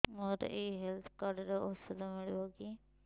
ମୋର ଏଇ health card ରେ ଔଷଧ ମିଳିବ କି